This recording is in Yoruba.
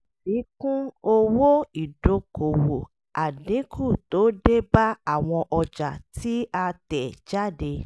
àfikún owó ìdókòwò: àdínkù tó dé bá àwọn ọjà tí a tẹ̀ jáde